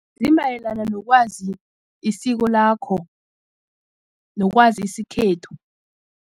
Zimayelana nokwazi isiko lakho nokwazi isikhethu.